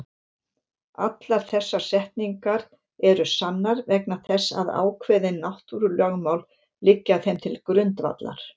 Allar þessar setningar eru sannar vegna þess að ákveðin náttúrulögmál liggja þeim til grundvallar.